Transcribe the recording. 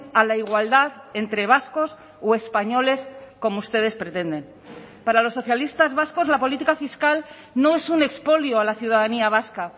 a la igualdad entre vascos o españoles como ustedes pretenden para los socialistas vascos la política fiscal no es un expolio a la ciudadanía vasca